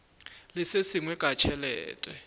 le se sengwe ka tšhelete